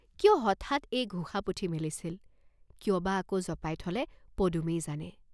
কিয় হঠাৎ এই ঘোষা পুথি মেলিছিল, কিয় বা আকৌ জপাই থলে পদুমেই জানে।